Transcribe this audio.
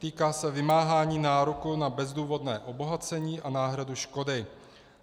Týká se vymáhání nároku na bezdůvodné obohacení a náhradu škody.